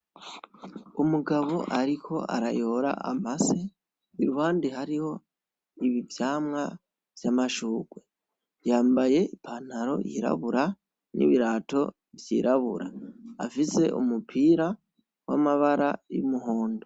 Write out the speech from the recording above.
Umugabo ariko arayora amase, iruhande hariho ivyamwa vy'amashurwe. Yambaye i pantalo yirabura n'ibirato vyirabura. Afise umupira w'amabara y'umuhondo.